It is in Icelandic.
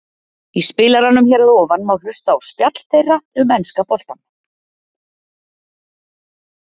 Í spilaranum hér að ofan má hlusta á spjall þeirra um enska boltann.